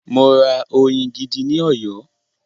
Mo ra oyin gidi ní Ọ̀yọ́.